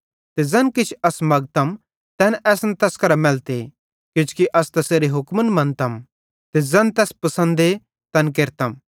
ते ज़ैन किछ अस मगतम तैन असन तैस करां मैलते किजोकि अस तैसेरे हुक्म मन्तम ते ज़ैन तैस पसंदे तैन केरतम